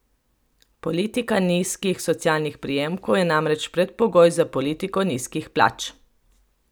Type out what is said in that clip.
Politika nizkih socialnih prejemkov je namreč predpogoj za politiko nizkih plač.